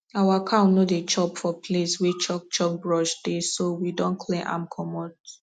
our cow no dey chop for place wey chukchuk brush dey so we don clear am comot